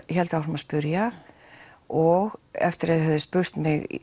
áfram að spurja og eftir að þeir höfðu spurt mig